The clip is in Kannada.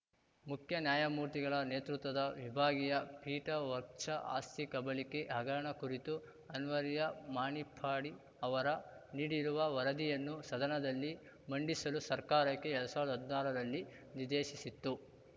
ಮುಖ್ಯ ನ್ಯಾಯಮೂರ್ತಿಗಳ ನೇತೃತ್ವದ ವಿಭಾಗೀಯ ಪೀಠ ವಕ್ಫ್ ಆಸ್ತಿ ಕಬಳಿಕೆ ಹಗರಣ ಕುರಿತು ಅನ್ವರ್ಯ ಮಾಣಿಪ್ಪಾಡಿ ಅವರ ನೀಡಿರುವ ವರದಿಯನ್ನು ಸದನದಲ್ಲಿ ಮಂಡಿಸಲು ಸರ್ಕಾರಕ್ಕೆ ಎರಡ್ ಸಾವಿರ್ದಾ ಹದ್ನಾರರಲ್ಲಿ ನಿರ್ದೇಶಿಸಿತ್ತು